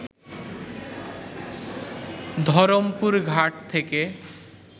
ধরমপুর ঘাট থেকে